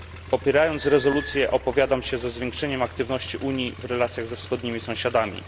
Popierając rezolucję, opowiadam się za zwiększeniem aktywności Unii w relacjach ze wschodnimi sąsiadami.